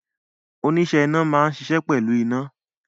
Oníṣẹ́ iná máa ń ṣiṣẹ́ pẹ̀lú iná